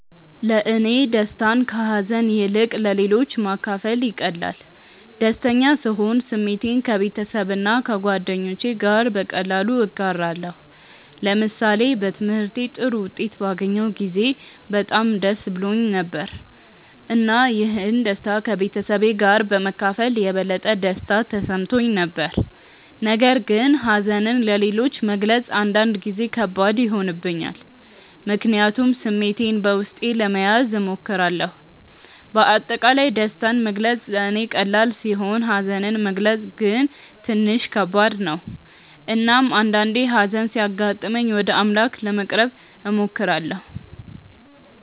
ለእኔ ደስታን ከሀዘን ይልቅ ለሌሎች ማካፈል ይቀላል። ደስተኛ ስሆን ስሜቴን ከቤተሰብና ከጓደኞቼ ጋር በቀላሉ እጋራለሁ። ለምሳሌ በትምህርቴ ጥሩ ውጤት ባገኘሁ ጊዜ በጣም ደስ ብሎኝ ነበር፣ እና ይህን ደስታ ከቤተሰቤ ጋር በመካፈል የበለጠ ደስታ ተሰምቶኝ ነበር። ነገር ግን ሀዘንን ለሌሎች መግለጽ አንዳንድ ጊዜ ከባድ ይሆንብኛል፣ ምክንያቱም ስሜቴን በውስጤ ለመያዝ እሞክራለሁ። በአጠቃላይ ደስታን መግለጽ ለእኔ ቀላል ሲሆን ሀዘንን መግለጽ ግን ትንሽ ከባድ ነው። እናም አንዳአንዴ ሀዘን ሲያጋጥመኝ ወደ አምላክ ለመቅረብ እሞክራለሁ።